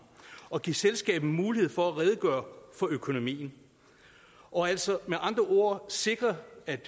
og give selskabet mulighed for at redegøre for økonomien og altså med andre ord sikre